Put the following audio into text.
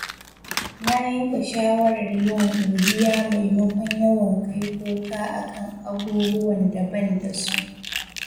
Na yanke shawarar yin godiya maimakon yawan kai kuka akan abubuwan da ban da su.